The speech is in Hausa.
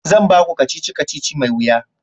zan baku kacici-kacici mai wuya